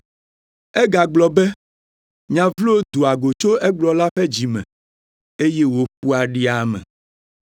Egagblɔ be, “Nya vlo doa go tso egblɔla ƒe dzi me, eye wòƒoa ɖi ame,